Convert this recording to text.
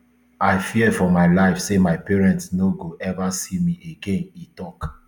i fear for my life say my parents no go eva see me again e tok